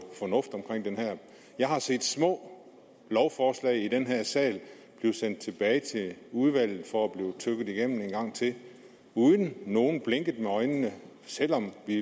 fornuft omkring det her jeg har set små lovforslag i den her sal blive sendt tilbage til udvalget for at blive tygget igennem en gang til uden at nogen blinkede med øjnene selv om vi